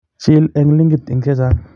Chiil eng' linkit eng' chechang'